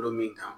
min kan